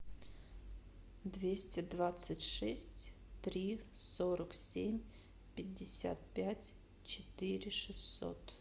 двести двадцать шесть три сорок семь пятьдесят пять четыре шестьсот